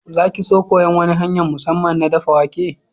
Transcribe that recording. Za ki so koyan wani hanya'n musamman na daffa wake?